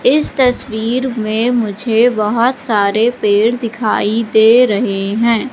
इस तस्वीर में मुझे बहुत सारे पेड़ दिखाई दे रहे हैं।